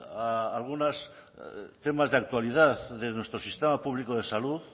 a algunos temas de actualidad de nuestro sistema público de salud